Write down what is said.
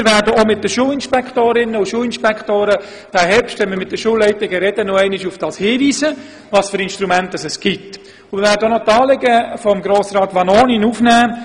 Diesen Herbst werden wir mit den Schulinspektorinnen und den Schulinspektoren bei den Gesprächen mit den Schulleitungen noch einmal auf die vorhandenen Instrumente hinweisen und die Anliegen von Grossrat Vanoni aufnehmen.